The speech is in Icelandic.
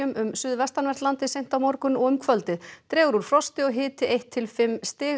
um suðvestanvert landið seint á morgun og um kvöldið dregur úr frosti og hiti einn til fimm stig